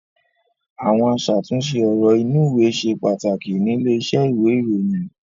Àwọn aṣàtúnṣe ọ̀rọ̀ inúùwé ṣe pàtàkì nílé iṣẹ́ ìwé-ìròyìn.